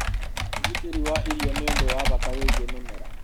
ũgitĩri wa irio ni ũndũ wa bata wĩgiĩ mĩmera